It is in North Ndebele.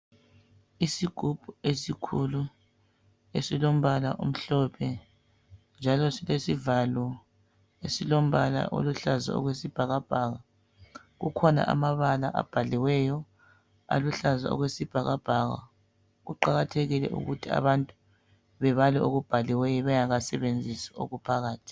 Isigubhu esikhulu esilombala omhlophe njalo silesivalo esilombala oluhlaza okwesibhakabhaka kukhona amabala abhaliweyo aluhlaza okwesibhakabhaka kuqakathekile ukuthi abantu bebale okubhaliweyo bengaka sebenzisi okuphakathi.